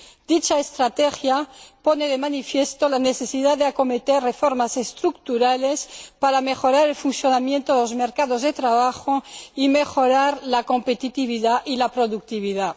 Dicha estrategia pone de manifiesto la necesidad de acometer reformar estructurales para mejorar el funcionamiento de los mercados de trabajo, la competitividad y la productividad.